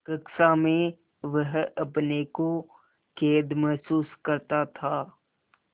कक्षा में वह अपने को कैद महसूस करता था